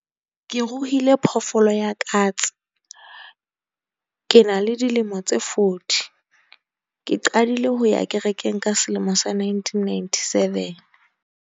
Ke ruhile phoofolo ya katse. Ke na le dilemo tse forty, ke qadile ho ya kerekeng ka selemo sa nineteen ninety seven.